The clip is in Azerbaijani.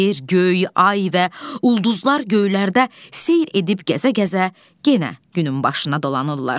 Yer, göy, ay və ulduzlar göylərdə seyr edib gəzə-gəzə yenə günün başına dolanırlar.